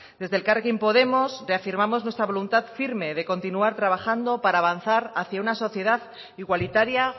desde elkarrekin podemos reafirmamos nuestra voluntad firme de continuar trabajando para avanzar hacia una sociedad igualitaria